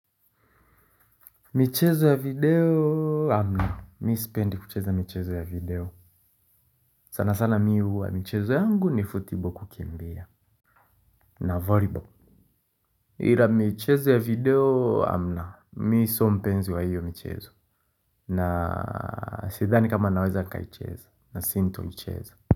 Michezo ya video hamna, mi sipendi kucheza michezo ya video. Sana sana mi huwa michezo yangu ni football kukimbia. Na volleyball. Hila michezo ya video hamna, mi sio mpenzi wa hiyo michezo. Na sidhani kama naweza nikaicheza, nasintoicheza.